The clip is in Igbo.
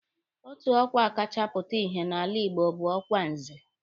Otu ọkwa kacha pụta ìhè n'ala Igbo bụ ọkwa Nze